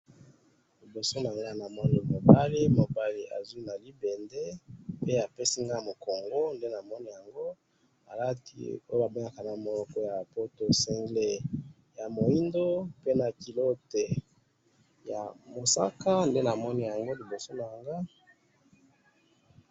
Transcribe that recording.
Awa na moni mobali azui na libende, apesi nga mukongo, alati oyo balobaka na lopoto single ya moindo na culotte ya mosaka, nde na moni yango liboso na nga.